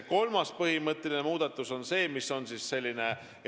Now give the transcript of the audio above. Ja kolmas põhimõtteline muudatus on nn sõidujagamisteenus.